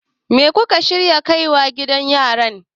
me kuka shirya kai wa gidan yaran?